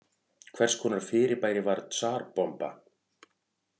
Hvers konar fyrirbæri var Tsar Bomba?